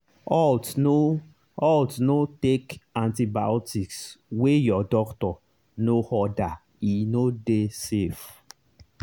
haltno haltno take antibiotics wey your doctor no ordere no dey safe.